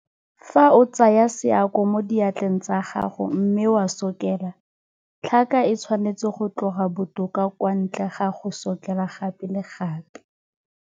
Fa o tsaya seako mo diatleng tsa gago mme wa sokela, tlhaka e tshwanetse go tloga botoka kwa ntle ga go sokela gape le gape.